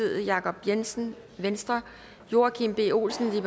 jacob jensen jensen joachim b olsen